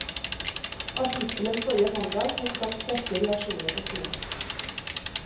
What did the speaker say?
Artikkelen forrige mandag har skapt sterke reaksjoner på skolen.